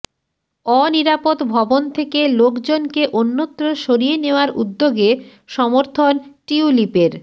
অনিরাপদ ভবন থেকে লোকজনকে অন্যত্র সরিয়ে নেওয়ার উদ্যোগে সমর্থন টিউলিপের